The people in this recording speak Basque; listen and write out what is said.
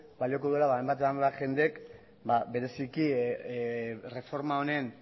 balioko duela hainbat eta hainbat jendek bereziki